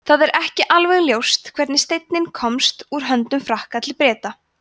það er ekki alveg ljóst hvernig steinninn komst úr höndum frakka til breta